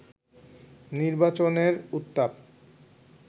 নির্বাচনের উত্তাপ